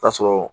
Ta sɔrɔ